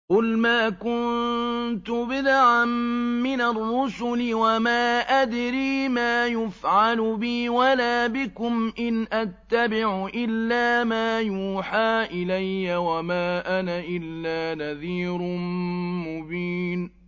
قُلْ مَا كُنتُ بِدْعًا مِّنَ الرُّسُلِ وَمَا أَدْرِي مَا يُفْعَلُ بِي وَلَا بِكُمْ ۖ إِنْ أَتَّبِعُ إِلَّا مَا يُوحَىٰ إِلَيَّ وَمَا أَنَا إِلَّا نَذِيرٌ مُّبِينٌ